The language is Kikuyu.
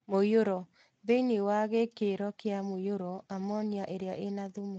Mũiyũro. Thĩinĩ wa gĩkĩro kia mũiyũro amonia iria ĩna thumu